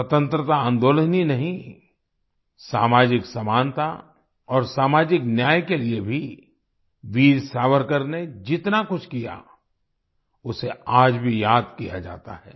स्वतंत्रता आंदोलन ही नहीं सामाजिक समानता और सामाजिक न्याय के लिए भी वीर सावरकर ने जितना कुछ किया उसे आज भी याद किया जाता है